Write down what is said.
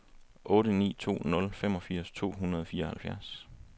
otte ni to nul femogfirs to hundrede og fireoghalvfjerds